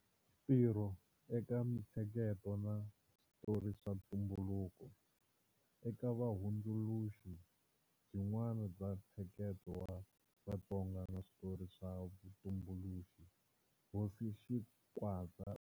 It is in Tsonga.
Ntirho eka Mintsheketo na Switori swa Ntumbuluko-Eka vuhundzuluxi byin'wana bya ntsheketo wa Vatsonga na switori swa vutumbuluxi, Hosi Xingwadza.